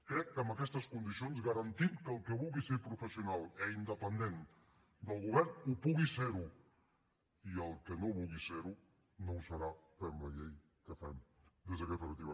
crec que amb aquestes condicions garantim que el que vulgui ser professional i independent del govern ho pugui ser i el que no vulgui ser ho no ho serà fem la llei que fem des d’aquesta perspectiva